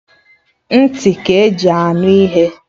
Nti ka-eji anụ ihe